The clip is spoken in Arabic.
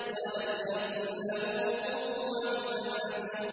وَلَمْ يَكُن لَّهُ كُفُوًا أَحَدٌ